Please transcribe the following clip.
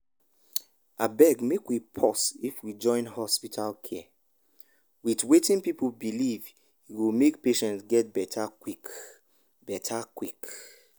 abeg make we pause if we join hospital care with wetin people believe e go make patients get better quick. better quick.